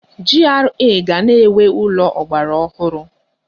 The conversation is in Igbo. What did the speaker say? GRA ga na-enwe ụlọ ọgbaraọhụrụ.